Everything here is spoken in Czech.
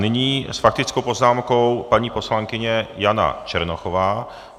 Nyní s faktickou poznámkou paní poslankyně Jana Černochová.